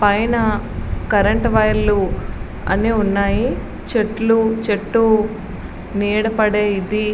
పైన కరెంటు వైర్లు అన్ని ఉన్నాయి. అన్ని ఉన్నాయి చెట్లు చెట్టు నీడ పడే ఇది--